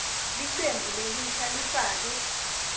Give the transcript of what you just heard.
licembu lelisha lifake